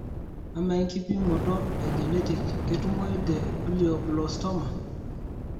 amaa enkipimoto e genetic ketumoyu te glioblastoma?